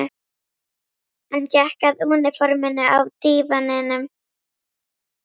Hann gekk að úniforminu á dívaninum.